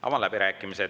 Avan läbirääkimised.